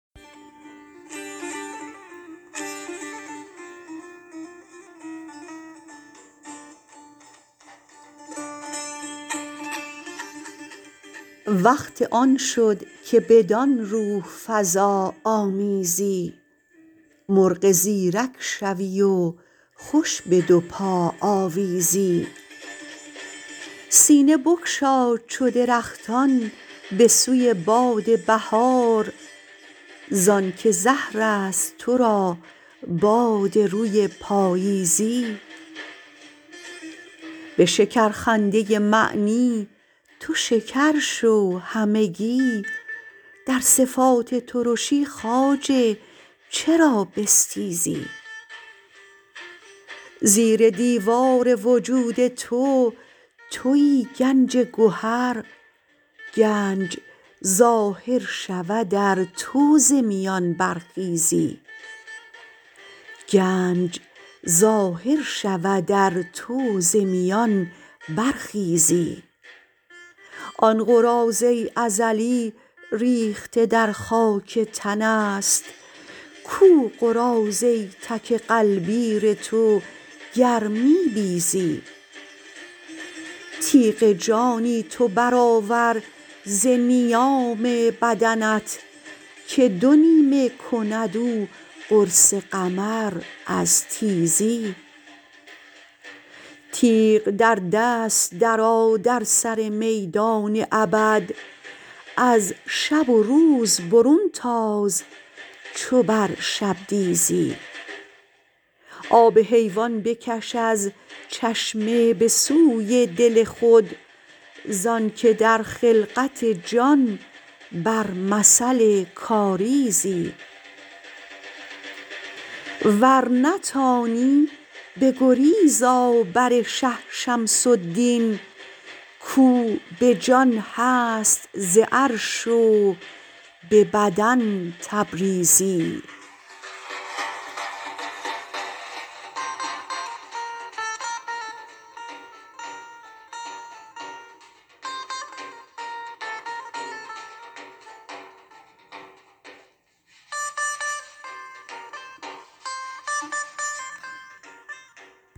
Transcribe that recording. وقت آن شد که بدان روح فزا آمیزی مرغ زیرک شوی و خوش به دو پا آویزی سینه بگشا چو درختان به سوی باد بهار ز آنک زهر است تو را باد روی پاییزی به شکرخنده معنی تو شکر شو همگی در صفات ترشی خواجه چرا بستیزی زیر دیوار وجود تو توی گنج گهر گنج ظاهر شود ار تو ز میان برخیزی آن قراضه ازلی ریخته در خاک تن است کو قراضه تک غلبیر تو گر می بیزی تیغ جانی تو برآور ز نیام بدنت که دو نیمه کند او قرص قمر از تیزی تیغ در دست درآ در سر میدان ابد از شب و روز برون تاز چو بر شبدیزی آب حیوان بکش از چشمه به سوی دل خود ز آنک در خلقت جان بر مثل کاریزی ور نتانی بگریز آ بر شه شمس الدین کو به جان هست ز عرش و به بدن تبریزی